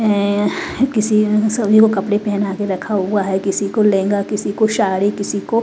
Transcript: ऐं किसी ने सभी को कपड़े पहना के रखा हुआ है किसी को लहंगा किसी को साड़ी किसी को--